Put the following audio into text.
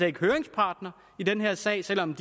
ikke høringspart i den her sag selv om